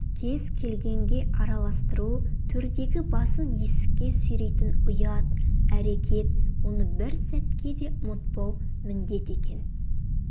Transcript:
кез келгенге араластыру-төрдегі басын есікке сүйрейтін ұят әрекет оны бір сәтке де ұмытпау міндет екен